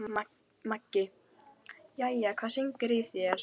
Maggi: Jæja, hvað syngur í þér?